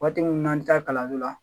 Waati minnu na an bɛ taa kalanso la